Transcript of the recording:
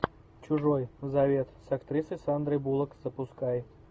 чужой завет с актрисой сандрой буллок запускай